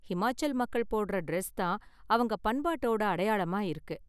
ஹிமாச்சல் மக்கள் போடுற டிரஸ் தான் அவங்க பண்பாட்டோட அடையாளமா இருக்கு.